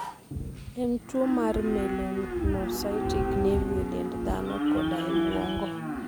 En tuwo mar melanocytic nevi e dend dhano koda e obwongo.